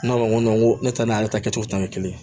Ne ko n ko ne ta n'ale ta kɛcogo ta ye kelen ye